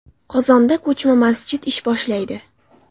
Qozonda ko‘chma masjid ish boshlaydi.